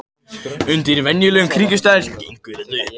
Undir venjulegum kringumstæðum gengur þetta upp.